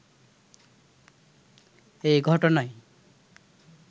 এ ঘটনায়